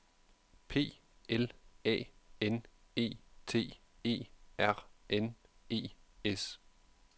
P L A N E T E R N E S